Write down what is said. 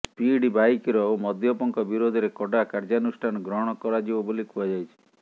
speed ବାଇକର ଓ ମଦ୍ୟପଙ୍କ ବିରୋଧରେ କଡା କାର୍ଯ୍ୟାନୁଷ୍ଠାନ ଗ୍ରହଣ କରାଯିବ ବୋଲି କୁହାଯାଇଛି